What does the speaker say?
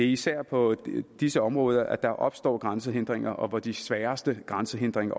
især på disse områder at der opstår grænsehindringer og hvor de sværeste grænsehindringer